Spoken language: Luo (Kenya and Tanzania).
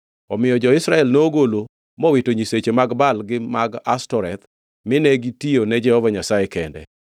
Omiyo jo-Israel nogolo mowito nyisechegi mag Baal gi mag Ashtoreth; mine gitiyo ne Jehova Nyasaye kende.